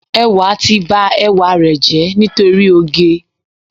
Ẹwà ti ba ẹwà rẹ̀ jẹ́ nítorí oge.